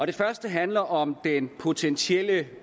det første handler om den potentielle